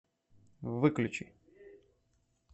выключи